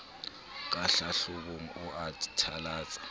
ka hlahlobong o a thalatsa